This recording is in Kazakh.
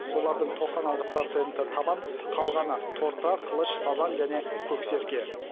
олардың тоқсан алты проценті табан қалғаны торта қылыш сазан және көксерке